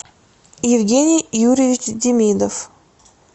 евгений юрьевич демидов